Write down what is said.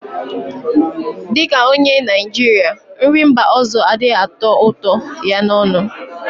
Dị ka onye Naịjirịa, nri mba ọzọ adịghị atọ ụtọ ya n'ọnụ